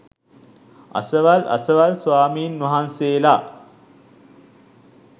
අසවල් අසවල් ස්වාමීන් වහන්සේලා